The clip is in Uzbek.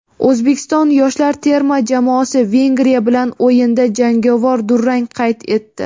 O‘zbekiston yoshlar terma jamoasi Vengriya bilan o‘yinda jangovar durang qayd etdi;.